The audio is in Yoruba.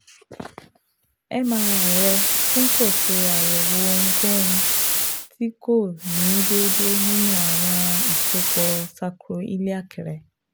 MRI rẹ tun ko ṣe asọye ohunkohun ti ko ni deede ninu awọn isopọ sakro-iliac rẹ